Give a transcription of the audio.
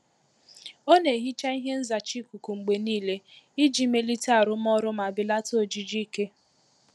Ọ na-ehicha ihe nzacha ikuku mgbe niile iji melite arụmọrụ ma belata ojiji ike.